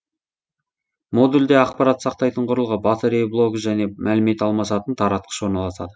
модульде ақпарат сақтайтын құрылғы батарея блогы және мәлімет алмасатын таратқыш орналасады